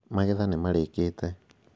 Magetha nimarĩkĩte